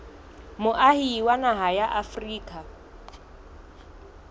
moahi wa naha ya afrika